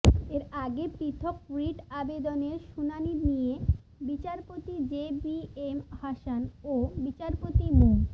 এর আগে পৃথক রিট আবেদনের শুনানি নিয়ে বিচারপতি জে বি এম হাসান ও বিচারপতি মো